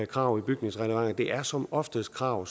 krav i bygningsreglementet det er som oftest krav